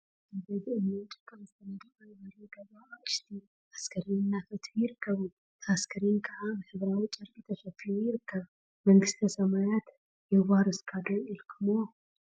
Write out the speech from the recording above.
አብ ሓደ ብእምኒን ጭቃን ዝተነደቀ በሪ ገዛ አቅሽቲ አስካሬን እናፈትሑ ይርከቡ፡፡ እቲ አስካሬን ከዓ ብሕብራዊ ጨርቂ ተሸፊኑ ይርከብ፡፡ መንግስተ ሰማያት የዋርስካ ዶ ኢልኩምዎ?